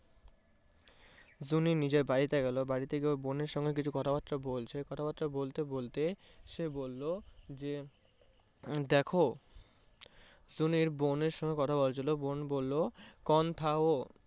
জুনি নিজের বাড়িতে গেলো বাড়িতে গিয়ে ওর বোনের সঙ্গে কিছু কথা বার্তা বলছে কথা বার্তা বলতে বলতে সে বললো যে দেখো জুনির বোনের সাথে কথা বলছিলো জুনির বোন বললো কোন থা উও?